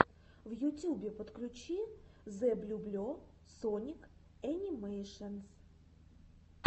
в ютюбе подключи зэблюбле соник энимэйшенс